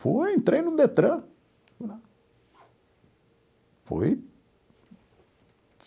Fui, entrei no DETRAN, fui lá, foi...